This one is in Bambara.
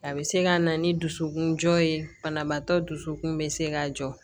A bɛ se ka na ni dusukun jɔ ye banabaatɔ dusukun bɛ se ka jɔ